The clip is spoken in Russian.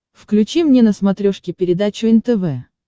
включи мне на смотрешке передачу нтв